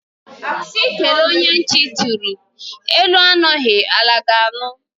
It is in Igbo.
Sị kelee onye nti chịrị, elu anụghi ala ga anụ